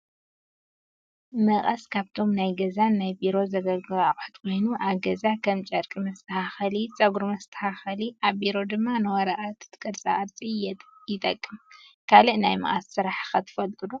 መቐስ ካብቶም ናይ ገዛን ናይ ቢሮን ዘገለግሉ ኣቕሑት ኮይኑ፣ ኣብ ገዛ ከም ጨርቂ መሽተካኸሊ፣ ፀጉሪ መስተኻኸሊ፣ ኣብ ቢሮ ድማ ንወረቐትን ቅርፃ ቅርፅ የጠቅም፡፡ ካሊእ ናይ መቐስ ስራሕ ኸ ትፈልጡ ዶ?